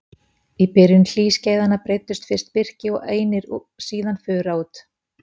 Í byrjun hlýskeiðanna breiddust fyrst birki og einir og síðan fura út.